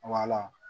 Wala